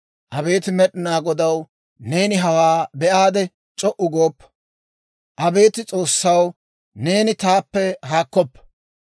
Abeet Med'inaa Godaw, neeni hawaa be'aade; c'o"u gooppa. Abeet S'oossaw, neeni taappe haakkoppa.